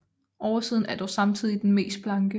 Oversiden er dog samtidig den mest blanke